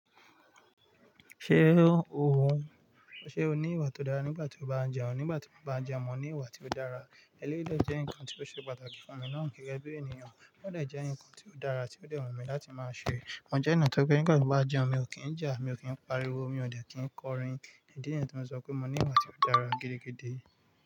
Ṣé òhun, ṣe o ní ìwà tó dára nígbà tí o bá ń jẹun? Nígbà tí mo bá ń jẹun, mo ní ìwà tí ó dára. Eléyìí dẹ̀ jẹ́ nǹkan tí ó ṣe pàtàkì fún mi náà gẹ́gẹ́ bí ènìyàn, ó dẹ̀ jẹ́ nǹkan tí ó dára tí ó dẹ̀ wù mí láti máa ṣe. Mo jẹ́ ẹni to jẹ́ pé nígbà tí n bá ń jẹun, mi ò kí ń jà, mi o dẹ̀ kí ń kọrin. Ídí nìyẹn tí mo sọ pé mo ní ìwà tí ó dára gidigidi.